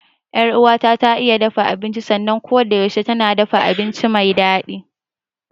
Yar uwata ta iya dafa abinci sannan kodayaushe tana dafa abinci me daɗi.